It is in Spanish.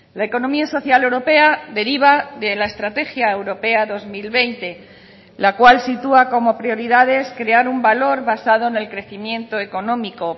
la economía social europea deriva de la estrategia europea dos mil veinte la cual sitúa como prioridades crear un valor basado en el crecimiento económico